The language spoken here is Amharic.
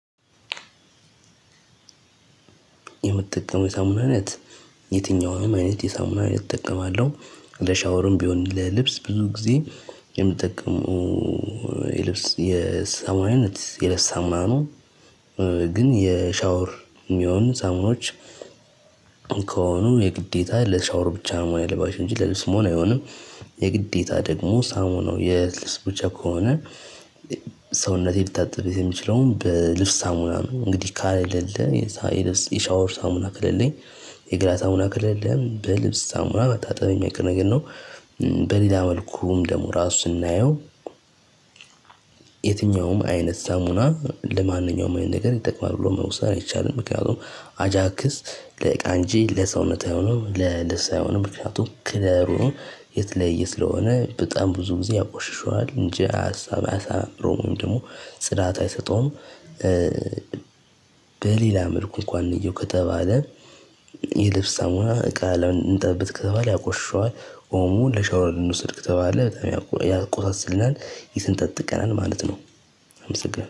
የምትጠቀመው የሳሙና አይነት የትኛውንም አይነት የሳሙና አይነት እጠቀማለሁ ለሻወርም ቢሆን ለልብስ ብዙ ጊዜ የምጠቀመው የልብስ የሳሙና አይነት የልብስ ሳሙና ነው። ግን የሻወር የሚሆን ሳሙኖች ከሆኑ የግዴታ ለሻወር ብቻ መሆን ነው ያለባቸው እንጂ ለልብስ አይሆንም። የግዴታ ደግሞ ሳሙናው ነው የልብስ ብቻ ከሆነ ሰውነቴ ልታጥብበት የምችለውም በልብስ ሳሙና ነው። እንግዲህ ከሌለ የሻወር ሳሙና ከሌለኝ የገላ ሳሙና ከሌለ በልብስ ሳሙና መታጠቤ የማይቀር ነገር ነው። በሌላ መልኩም ደግሞ ራሱ ስናየው የትኛውም አይነት ሳሙና ለማንኛውም አይነት ነገር ይጠቅማል ብሎ መውሰድ አይቻልም። ምክንያቱም አጃክስ ለዕቃን እንጂ ለሰውነት አይሆንም ለልብስ አይሆንም ምክንያቱም ክለሩን የተለየ ስለሆነ በጣም ብዙ ጊዜ ያቆሽሹታል እንጂ አያሳምረዉም ወይም ደግሞ ጽዳት አይሰጠውም። በሌላ መልኩ እንኳን እየው ከተባለ የልብስ ሳሙና እቃ እንጠብበት ከተባለ ያቆሽሽዋል። ኦሞ ለሻወር እንዉሰድ ከተባለ በጣም ያቆሳስልናል ይሰነጣጥቀናል ማለት ነው።